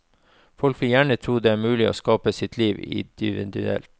Folk vil gjerne tro det er mulig å skape sitt liv individuelt.